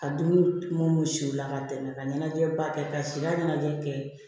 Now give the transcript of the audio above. Ka dumuni mun siw la ka tɛmɛ ka ɲɛnajɛba kɛ ka sida ɲɛnajɛ kɛ